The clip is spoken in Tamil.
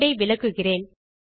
கோடு ஐ விளக்குகிறேன்